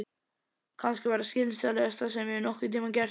Kannski það skynsamlegasta sem ég hef nokkurn tímann gert.